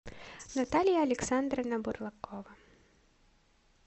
наталья александровна бурлакова